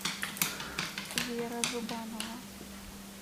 вера зубанова